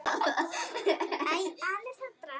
Ég þrýsti hönd Helga.